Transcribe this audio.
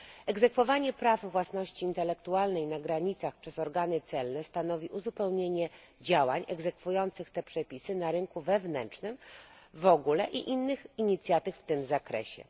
Egzekwowanie praw własności intelektualnej na granicach przez organy celne stanowi uzupełnienie działań egzekwujących te przepisy na rynku wewnętrznym w ogóle i innych inicjatyw w tym zakresie.